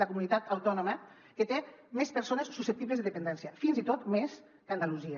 la comunitat autònoma que té més persones susceptibles de dependència fins i tot més que andalusia